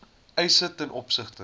eise ten opsigte